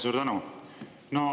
Suur tänu!